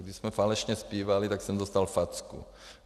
Když jsme falešně zpívali, tak jsem dostal facku.